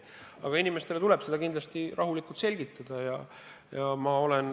Aga inimestele tuleb asja rahulikult selgitada.